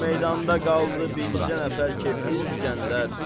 Bu meydanda qaldı bircə nəfər kefli İsgəndər.